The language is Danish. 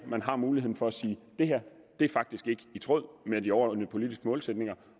man har muligheden for at sige det her er faktisk ikke i tråd med de overordnede politiske målsætninger